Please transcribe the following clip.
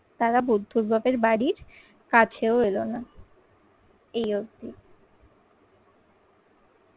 তারা বুদ্ধর বাপের বাড়ির কাছেও এলো না। এই অব্দি।